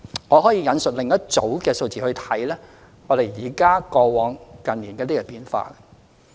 我可以引述另一組數字，比較過往和近年的一些變化。